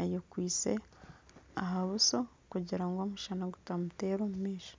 ayekwitse aha buso kugira ngu omushana gutamuteera omu maisho